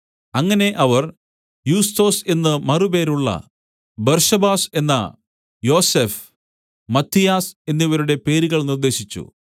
അങ്ങനെ അവർ യുസ്തൊസ് എന്ന് മറുപേരുള്ള ബർശബാസ് എന്ന യോസഫ് മത്ഥിയാസ് എന്നിവരുടെ പേരുകൾ നിർദ്ദേശിച്ചു